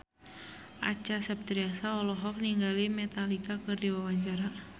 Acha Septriasa olohok ningali Metallica keur diwawancara